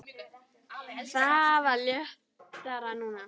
Þetta var léttara núna.